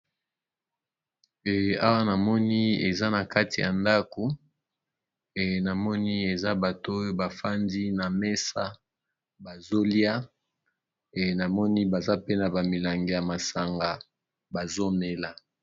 Ee awa namoni eza nakati yandaku eee namoni eza batoyo bafandi namesa bazoliya namoni bazape nabamilangi ya masanga bazomela